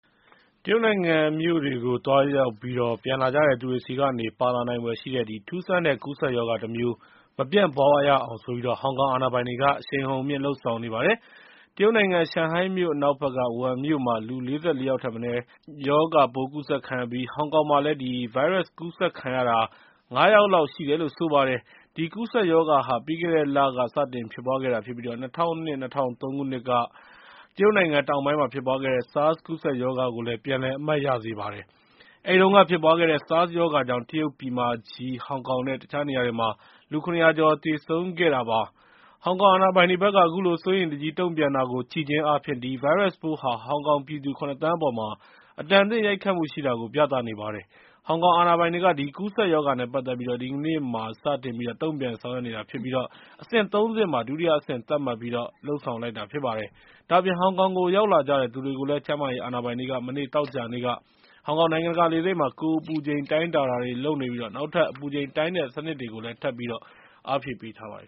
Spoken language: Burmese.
တရုတ်နိုင်ငံမြို့တွေကို သွားရောက်ပြီး ပြန်လာကြတဲ့သူတွေဆီကနေ ပါလာနိုင်ဖွယ်ရှိတဲ့ ထူးဆန်းတဲ့ ကူးစက်ရောဂါတမျိုး မပြန့်ပွားရအောင် ဟောင်ကောင် အာဏာပိုင်တွေက အရှိန်အဟုန်မြှင့် လုပ်ဆောင်နေပါတယ်။ တရုတ်နိုင်ငံ ရှန်ဟိုင်းမြို့ အနောက်ဘက်က ဝူဟန်မြို့မှာ လူူ ၄၄ ယောက်ထက်မနည်း အဆုတ်အအေးမိတဲ့ ဗိုင်းရပ်စ်ရောဂါပိုး ကူးစက်ခံခဲ့ရပြီး ဟောင်ကောင်မှာလည်း အဲဒီဗိုင်းရပ်စ်ပိုး ကူးစက်ခံရတာ ၅ ယောက်လောက် ရှိတယ်လို့ ဆိုပါတယ်။ ဒီ ကူးစက်ရောဂါဟာ ပြီးခဲ့တဲ့လက စတင်ဖြစ်ပွားခဲ့တာဖြစ်ပြီး ၂၀၀၂-၂၀၀၃ ခုနှစ်က တရုတ်နိုင်ငံတောင်ပိုင်းမှာ ဖြစ်ပွားခဲ့တဲ့ SARS ကူးစက်ရောဂါကို ပြန်လည် အမှတ်ရစေပါတယ်။ အဲဒီတုန်းက ဖြစ်ပွားခဲ့တဲ့ SARS ရောဂါကြောင့် တရုတ်ပြည်မကြီး၊ ဟောင်ကောင်နဲ့ တခြားနေရာတွေမှာ လူ ၇၀၀ ကျော် သေဆုံးခဲ့တာပါ။ ဟောင်ကောင်အာဏာပိုင်တွေဘက်က အခုလို စိုးရိမ်တကြီး တုံ့ပြန်တာကို ကြည့်ခြင်းအားဖြင့် ဒီဗိုင်းရပ်စ်ပိုးဟာ ဟောင်ကောင်ပြည်သူ ၇ သန်းခွဲအပေါ်မှာ အတန်အသင့် ရိုက်ခတ်မှုရှိတာကို ပြသနေပါတယ်။ ဟောင်ကောင်အာဏာပိုင်တွေက ဒီကူးစက်ရောဂါနဲ့ ပတ်သက်ပြီး ဒီကနေ့မှာ စတင်ပြီးတော့ တုံ့ပြန်ဆောင်ရွက်နေတာဖြစ်ပြီး အဆင့် ၃ ဆင့်မှာ ဒုတိယအဆင့် သတ်မှတ်ပြီးတော့ လုပ်ဆောင်လိုက်တာ ဖြစ်ပါတယ်။ ဒါ့အပြင် ဟောင်ကောင်ကို ရောက်လာကြတဲ့ သူတွေကိုလည်း ကျန်းမာရေးအာဏာပိုင်တွေက မနေ့ သောကြာနေ့က ဟောင်ကောင် နိုင်ငံတကာလေဆိပ်မှာ ကိုယ်အပူချိန် တိုင်းတာတွေ လုပ်နေပြီး နောက်ထပ်လည်း အပူချိန်တိုင်းတဲ့ စနစ်တွေကို ထပ်ပြီး အားဖြည့်ထားပါတယ်